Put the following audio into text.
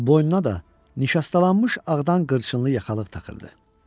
Boynuna da nişastalanmış ağdan qırçınlı yaxalıq taxırdı.